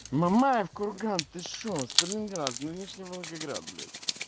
мамаев курган ты шо сталинград нынешний волгоград блять